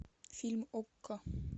фильм окко